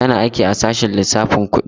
Tana aiki a sashen lissafin kudi.